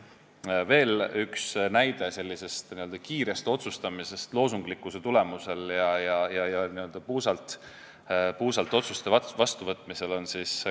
Toon veel ühe näite sellise kiire otsustamise kohta loosunglikkuse tulemusel ja n-ö puusalt tulistades otsuste vastuvõtmise kohta.